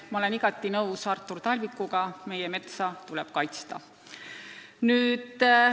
Ma olen igati nõus Artur Talvikuga: meie metsa tuleb kaitsta!